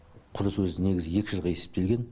құрылыс өзі негізі екі жылға есептелген